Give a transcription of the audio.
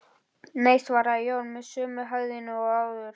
Nei, svaraði Jón með sömu hægðinni og áður.